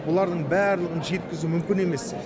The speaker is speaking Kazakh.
олардың барлығын жеткізу мүмкін емес